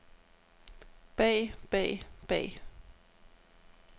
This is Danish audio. bag bag bag